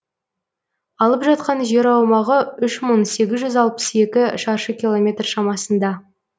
алып жатқан жер аумағы үш мың сегіз жүз алпыс екі шаршы километр шамасында